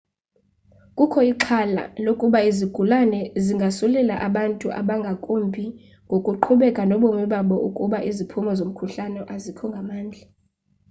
kukho ixhala lokuba izigulana zingasulelaa abantu abangakumbi ngokuqhubeka nobomi babo ukuba iziphumo zomkhuhlane azikho ngamandla